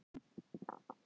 Þetta er erfitt að skilja.